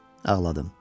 Ağladım.